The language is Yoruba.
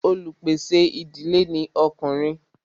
olupèsè ìdílé ní Ọkùnrin.